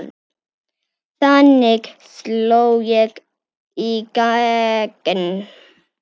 Þannig sló ég í gegn.